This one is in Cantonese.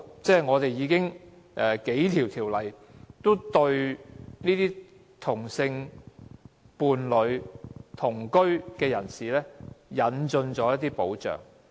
香港已有數項法例對同性伴侶及同居的人士，提供了一些保障。